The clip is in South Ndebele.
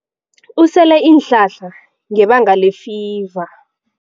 Usele iinhlahla ngebanga lefiva.